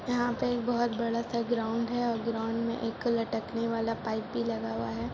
यहां पर एक बहुत बड़ा ग्राउंड है और ग्राउंड में एक लटकने वाला पाइप भी लगा हुआ है।